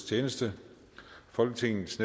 tillade sig